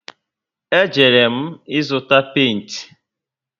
E jere m ịzụta penti